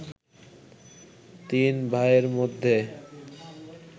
তিন ভাইয়ের মধ্যে